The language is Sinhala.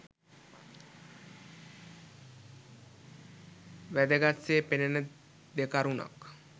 වැදගත් සේ පෙනෙන දෙකරුණක්